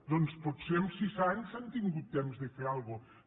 doncs potser en sis anys han tingut temps de fer alguna cosa